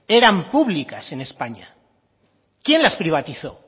eran públicas en españa quién las privatizó